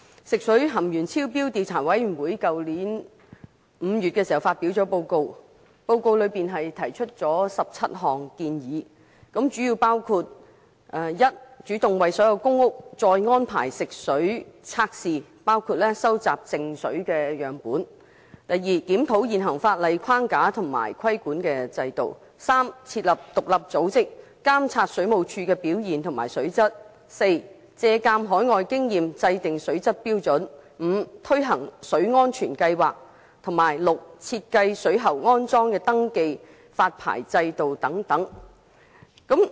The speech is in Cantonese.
食水含鉛超標調查委員會在去年5月發表報告，提出了17項建議，主要包括第一，主動為所有公屋再安排食水測試，包括收集靜水樣本；第二，檢討現行法例框架及規管制度；第三，設立獨立組織，監察水務署的表現及水質；第四，借鑒海外經驗，制訂水質標準；第五，推行水安全計劃；以及第六，設計水喉安裝登記及發牌制度等。